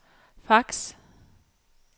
fax